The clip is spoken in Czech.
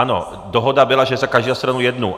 Ano, dohoda byla, že za každou stranu jednu.